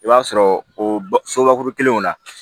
I b'a sɔrɔ o sobakuru kelenw na